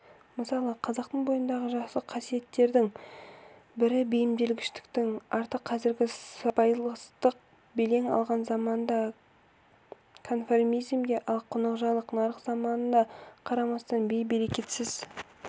мысалы қазақтың бойындағы жақсы қасиеттің бірі бейімделгіштіктің арты қазіргі сыбайластық белең алған заманда конформизмге ал қонақжайлылық нарық заманына қарамастан бей-берекетсіз